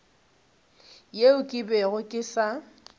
yeo ke bego ke sa